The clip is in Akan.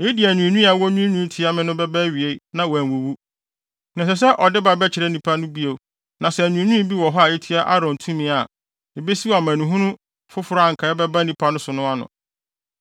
Eyi de anwiinwii a wonwiinwii tia me no bɛba awiei na wɔanwuwu.” Na ɛsɛ sɛ ɔde ba bɛkyerɛ nnipa no bio na sɛ anwiinwii bi wɔ hɔ a etia Aaron tumi a, ebesiw amanehunu foforo a anka ɛbɛba nnipa no so no ano.